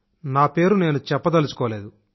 నా పేరు నేను చెప్పదలుచుకోలేదు